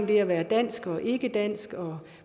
det at være dansk og ikkedansk og